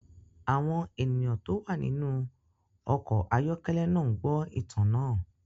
Àwọn ènìyàn tó wà nínú ọkọ̀ ayọ́kẹ́lẹ́ náà ń gbọ́ ìtàn náà.